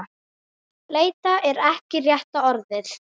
Leita er ekki rétta orðið.